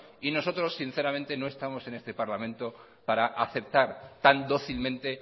y nosotros sinceramente no estamos en este parlamento para aceptar tan dócilmente